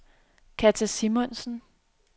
Katja Simonsen